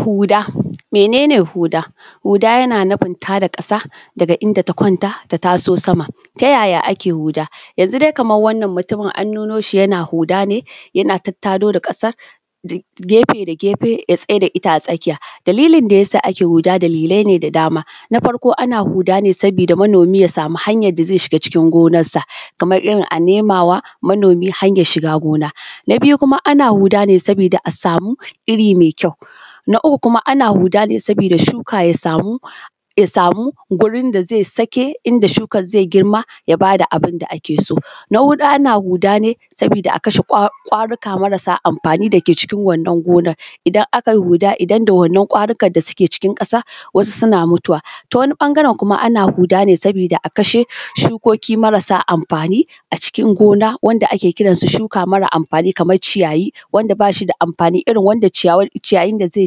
Hu:ɗa, menene huɗa. huɗa ya nufin tada ƙasa, daga inda ta kwanta ta taso sama. ta yaya ake huɗa, yanzu dai kaman wannan mutumin, an nu noshi yana huɗa ne. yana tattado da ƙasar, gefe da gefe ya tsaida ita a tsakija. dalilin da yasa ake huɗa dalilaine da dama. Na farko ana huɗa ne saboda manomi, ya sama hanyar shiga cikin gonarsa. Kamar irin anemawa manomi hanyar shiga gona. Na biju ana huɗa ne saboda asami iri mai kjau. Na uku kuma ana huɗa ne sabida shuka yasamu, yasamu gurin daze sake, inda shukar zai girma yabada abinda akeso. Na huɗu ana huɗa ne, sabida sabida a kashe: kwaruka: marasa: amfani:, dake cikin wannan gonan. Idan akai huɗa, idan da wannan kwarikar da suke cikin ƙasa, wasu suna mutuwa. Ta wani: ɓangaren kuma ana huɗa ne sabida akashe:, ʃukoki marasa amɸani ackin gona, wanda ake kiransu shuka mara amfani kamar ciyayi. wanda bashi: da amfani: irin wanda ciyawar ciyayin da zai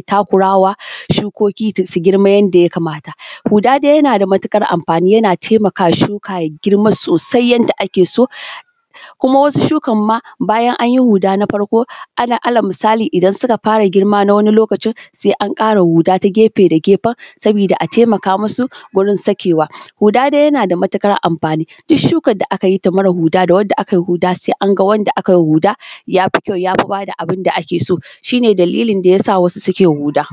takurawa, shukoki su girma yanda ya kamata. Huɗa dai yana matuƙar amfani yana taimakawa ʃuka ja girma sosai yanda akeso, kuma wasu shukarma bajan anji huɗa ta farko. la ala musali: idan suka ɸara girma na wani lokacin, se anƙara huɗa ta gefe da ge:fen, sabida a taimaka musu wurin sakewa. Huɗa dai yanada matuƙar amfani: Duk ʃukar da aka jita mara huɗa, da wanda aka ji huɗa se anga wanda akajiwa huɗa jafi kjau yafi: bada abinda akeso. shine dalilin dayasa wasu suke huda.